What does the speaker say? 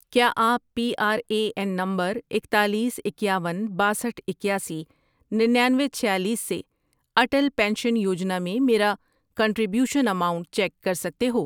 کیا آپ P R A N number اکتالیس، اکیاون، باسٹھ ،اکیاسی، ننانوے، چھیالیس، سے اٹل پینشن یوجنا میں میرا کنٹری بیوشن اماؤنٹ چیک کر سکتے ہو؟